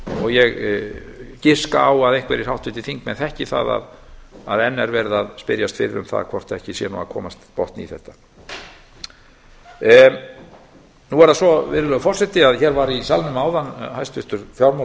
og ég giska á að einhverjir háttvirtir þingmenn þekki það að enn er verið að spyrja um hvort ekki sé nú að komast botn í málið hér var í salnum áðan hæstvirtur fjármála og